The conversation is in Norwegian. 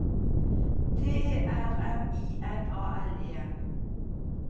T E R M I N A L E N